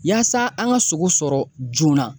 Yaasa an ka sogo sɔrɔ joona.